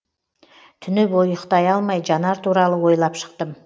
түні бойы ұйықтай алмай жанар туралы ойлап шықтым